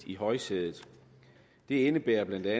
i højsædet det indebærer bla at